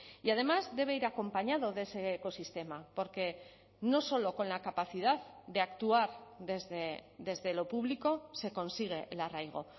y además debe ir acompañado de ese ecosistema porque no solo con la capacidad de actuar desde lo público se consigue el arraigo